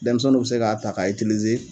Denmisɛnnuw be se k'a ta k'a itilize